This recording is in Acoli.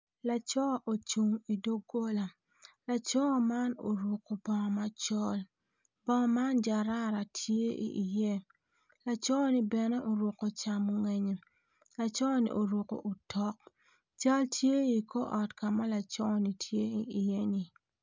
Laco ocung idogola laco man orukko bongo macol bongo man jarara tye iye laconi bene oruko camongenye laconi oruko otok cal tye i kor ot ka ma laconi tye iye-ni.